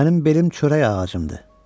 mənim belim çörək ağacımdır.